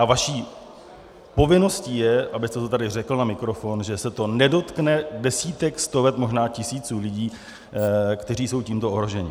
A vaší povinností je, abyste to tady řekl na mikrofon, že se to nedotkne desítek, stovek, možná tisíců lidí, kteří jsou tímto ohroženi.